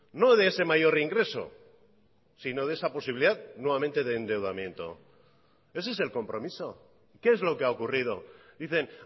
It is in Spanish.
no de ese mayor ingreso sino de esa posibilidad nuevamente de endeudamiento ese es el compromiso qué es lo que ha ocurrido dicen